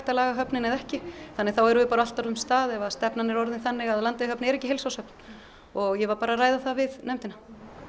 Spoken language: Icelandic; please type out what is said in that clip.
að laga höfnina eða ekki þannig að þá erum við bara á allt öðrum stað ef stefnan er orðin þannig að Landeyjahöfn er ekki heilsárshöfn og ég var að ræða það við nefndina